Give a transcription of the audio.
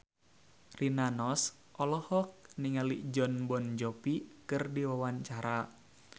Rina Nose olohok ningali Jon Bon Jovi keur diwawancara